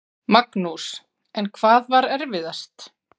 Magnús: En hvað var erfiðast?